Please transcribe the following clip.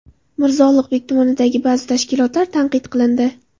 Mirzo Ulug‘bek tumanidagi ba’zi tashkilotlar tanqid qilindi.